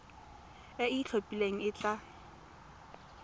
e e itlhophileng e tla